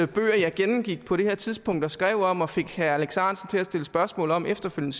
bøger jeg gennemgik på det her tidspunkt og skrev om og fik herre alex ahrendtsen til at stille spørgsmål om efterfølgende